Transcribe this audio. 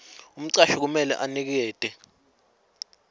umcashi kumele anikete